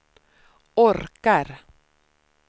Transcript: orkar